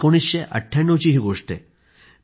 ही 1998 ची गोष्ट आहे